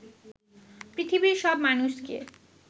পৃথিবীর সব মানুষকে